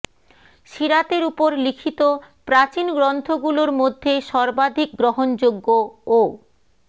সিরাতের ওপর লিখিত প্রাচীন গ্রন্থগুলোর মধ্যে সর্বাধিক গ্রহণযোগ্য ও